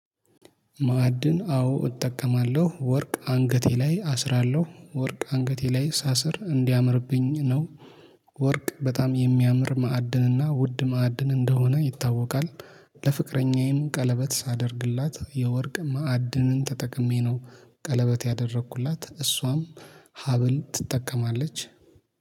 ማዕድን አዎ እጠቀማለሁ ወርቅ አንገቴ ላይ አስራለሁ ወርቅ አንገቴ ላይ ሳስር እንዲያምርብኝ ነው። ወርቅ በጣም የሚያምር ማዕድንና ውድ ማዕድን እንደሆነ ይታወቃል። ለፍቅረኛዬም ቀለበት ሳደርግላት የወርቅ ማዕድንን ተጠቅሜ ነው። ቀለበት ያደረኩላት እሷም ሀብል ትጠቀማለች